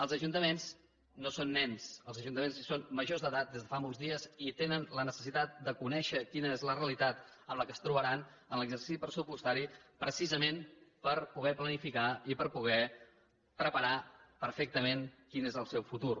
els ajuntaments no són nens els ajuntaments són majors d’edat des de fa molts dies i tenen la necessitat de conèixer quina és la realitat amb què es trobaran en l’exercici pressupostari precisament per poder planificar i per poder preparar perfectament quin és el seu futur